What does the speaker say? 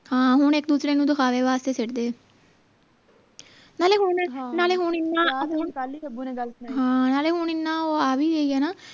ਹਾਂ ਹੁਣ ਇਕ ਦੂਸਰੇ ਨੂੰ ਦਿਖਾਵੇ ਵਾਸਤੇ ਸਿੱਟਦੇ ਹੈ ਨਾਲੇ ਹੁਣ ਨਾਲੇ ਹੁਣ ਇੰਨਾ ਹੁਣ ਹਾਂ ਨਾਲੇ ਹੁਣ ਇੰਨਾ ਆ ਵੀ ਹੈ ਨਾ